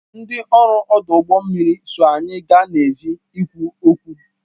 Ndị ọrụ ọdụ ụgbọ mmiri so anyị gaa n'èzí ịkwu okwu